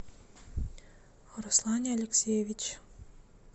руслане алексеевиче